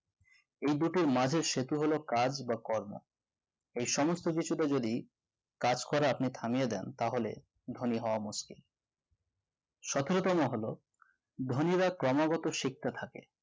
এই দুটির মাঝের সেতু হলো কাজ বা কর্ম এই সমস্ত কিছুটা যদি কাজ করা আপনাকে আমি দেন তাহলে ধনীও মুশকিল সতরো তম হলো ধনীরা ক্রমাগত শিখতে থাকে থাকে